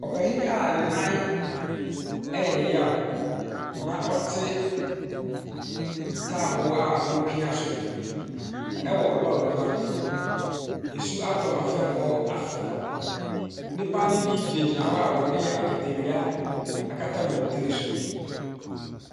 Panin a ne nan yɛ ne yaw, na ɔte ntaaboo a wɔpia so wɔ lɔre kwan no mu. Nsuo atɔ ma fam hɔ afɔ. Nnipa no bi gyinagyina hɔ a wɔde akatawia akata wɔn tiri so.